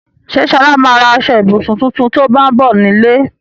Ṣé Ṣọlá ma ra aṣọ-ìbùsùn tuntun tó bá ń bọ̀ nílé?